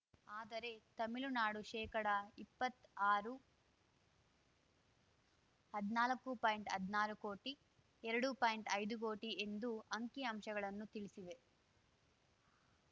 ಆದರೆ ತಮಿಳುನಾಡು ಶೇಕಡ ಇಪ್ಪತ್ತಾರು ಹದ್ನಾಲ್ಕು ಪಾಯಿಂಟ್ಹದ್ನಾರು ಕೋಟಿ ಎರಡು ಪಾಯಿಂಟ್ಐದು ಕೋಟಿ ಎಂದು ಅಂಕಿಅಂಶಗಳನ್ನು ತಿಳಿಸಿವೆ